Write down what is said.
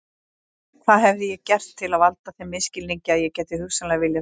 Hvað hafði ég gert til að valda þeim misskilningi að ég gæti hugsanlega viljað þetta?